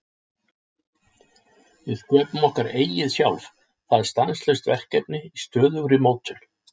Við sköpum okkar eigið sjálf, það er stanslaust verkefni í stöðugri mótun.